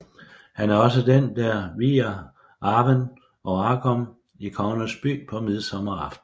Han er også den der vier Arwen og Aragorn i kongernes by på midsommer aften